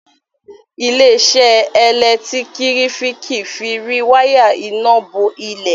ile-iṣẹ elekitiriki fí rí waya iná bó ilé.